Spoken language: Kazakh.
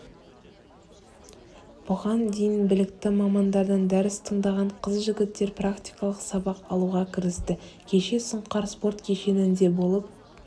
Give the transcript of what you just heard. бұған дейін білікті мамандардан дәріс тыңдаған қыз-жігіттер практикалық сабақ алуға кірісті кеше сұңқар спорт кешенінде болып